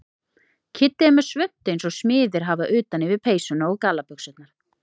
Kiddi er með svuntu eins og smiðir hafa utan yfir peysuna og gallabuxurnar.